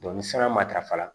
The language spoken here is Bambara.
ni san matarafa